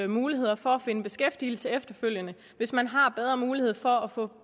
muligheder for at finde beskæftigelse efterfølgende hvis man har bedre mulighed for at få